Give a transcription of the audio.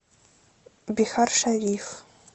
бихаршариф